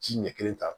Ji ɲɛ kelen ta